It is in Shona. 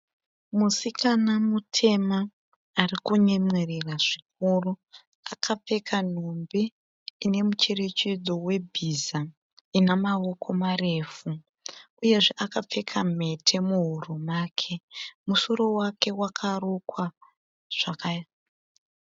Musikana mutema ari kunyemwerera zvikuru. Akapfeka nhumbi ine mucherechedzo webhiza ina mawoko marefu. Uyezve akapfeka mhete muhuro make. Musoro wake wakarukwa zvakanaka.